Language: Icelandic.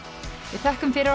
við þökkum fyrir